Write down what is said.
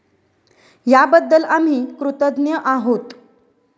याबद्दल आम्ही कृतज्ञ आहोत.